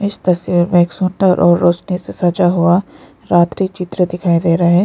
इस तस्वीर में एक सुंदर और रोशनी से सजा हुआ रात्रि चित्र दिखाई दे रहा है।